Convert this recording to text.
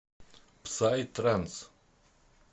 псай транс